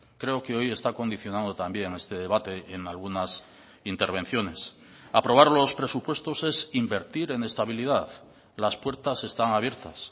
creo que hoy está condicionando también este debate en algunas intervenciones aprobar los presupuestos es invertir en estabilidad las puertas están abiertas